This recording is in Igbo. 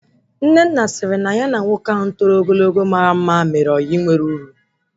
Nnenna sịrị na ya na nwoke ahụ toro ogologo mara mma mere ọyị nwe uru